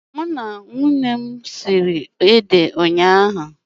Mụ na nwunye m siri ede ụnyaahụ.